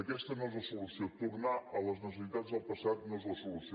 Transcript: aquesta no és la solució tornar a les necessitats del passat no és la solució